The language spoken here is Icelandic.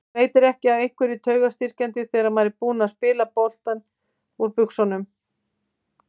Veitir ekki af einhverju taugastyrkjandi þegar maður er búinn að spila botninn úr buxunum.